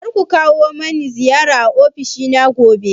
Kar ku kawo mani ziyara a ofishina gobe.